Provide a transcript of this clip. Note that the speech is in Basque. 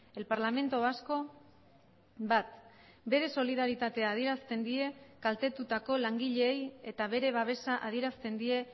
el parlamento vasco bat bere solidaritatea adierazten die kaltetutako langileei eta bere babesa adierazten die